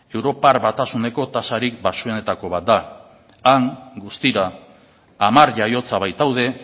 europar batasuneko tasarik baxuenetako bat da han guztira hamar jaiotza baitaude